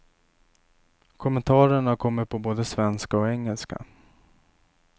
Kommentarerna kommer på både svenska och engelska.